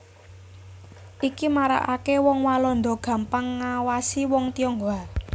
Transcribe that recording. Iki maraaké wong Walanda gampang ngawasi wong Tionghoa